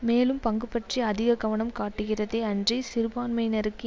மேலும் பங்கு பற்றி அதிக கவனம் காட்டுகிறதே அன்றி சிறுபான்மையினருக்கு